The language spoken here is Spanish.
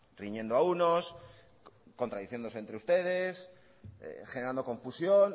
riñendo a unos contradiciéndose entre ustedes generando confusión